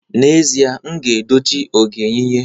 N'ezie, m ga-eji dochie oge yinye